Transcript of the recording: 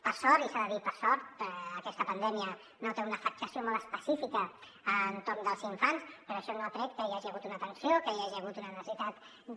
per sort i s’ha de dir per sort aquesta pandèmia no té una afectació molt específica a l’entorn dels infants però això no ha tret que hi hagi hagut una atenció que hi hagi hagut una necessitat de